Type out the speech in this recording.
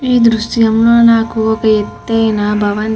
ఈ ద్రుశ్యంలో లో నాకు ఒక ఎత్తయినా భవంతి.